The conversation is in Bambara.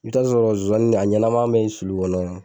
I bi taa sɔrɔ nsonsanni a ɲɛnaman bɛ sulu kɔnɔ.